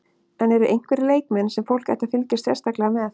En eru einhverjir leikmenn sem fólk ætti að fylgjast sérstaklega með?